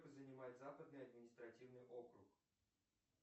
занимает западный административный округ